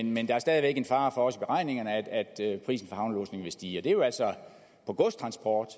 men der er stadig væk en fare for også ifølge beregningerne at prisen på havnelodsning vil stige og det er jo altså på godstransport